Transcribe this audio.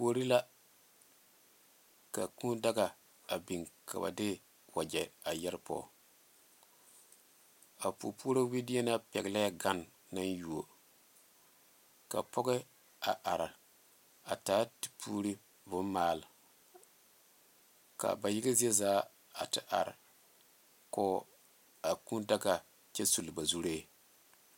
Kuori la ka kūū daga a biŋ ka ba de wagye a yɛre poɔ a pou puori wideri pegle gane naŋ yuo ka pɔge a are a taa te puure bon maale ka ba yaga zie zaa a te are koo a kūū daga kyɛ sugle ba zure.